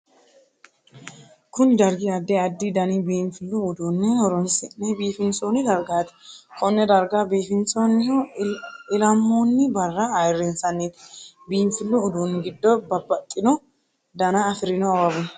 Kunni dargi addi addi danni biinfilu uduunne horoonsi'ne biifinsoonni dargaati. Konne darga biifinsoonnihu ilamoonni Barra ayirinsanniiti. Biinfilu uduunni gido babbaxino danna afirinno awawi no.